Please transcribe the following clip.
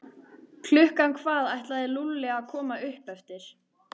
Klukkan hvað ætlaði Lúlli að koma upp eftir?